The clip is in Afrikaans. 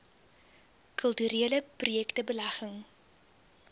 kulturele projekte belegging